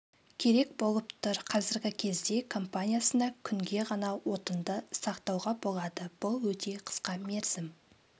керек болып тұр қазіргі кезде компаниясына күнге ғана отынды сақтауға болады бұл өте қысқа мерзім